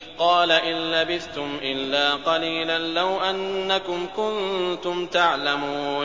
قَالَ إِن لَّبِثْتُمْ إِلَّا قَلِيلًا ۖ لَّوْ أَنَّكُمْ كُنتُمْ تَعْلَمُونَ